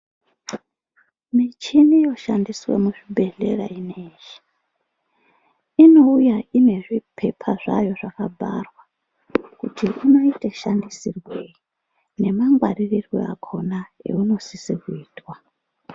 Michini yoshandiswe muzvibhedhlera zvinezvi inouya ine zvipepa zvayo zvakabharwa kuti inoita shandisirwei nemangwaririrwe akona eunosisa kuitwa.